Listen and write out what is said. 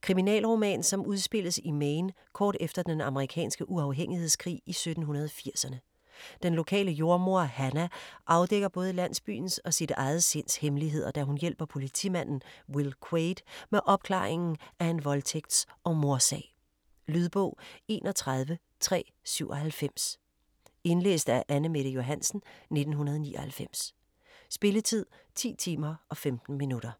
Kriminalroman som udspilles i Maine kort efter den amerikanske uafhængighedskrig i 1780-erne. Den lokale jordemoder Hannah afdækker både landsbyens og sit eget sinds hemmeligheder, da hun hjælper politimanden Will Quaid med opklaringen af en voldtægts- og mordsag. Lydbog 31397 Indlæst af Anne-Mette Johansen, 1999. Spilletid: 10 timer, 15 minutter.